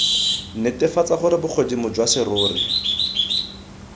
netefatse gore bogodimo jwa serori